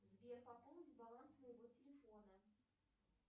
сбер пополнить баланс моего телефона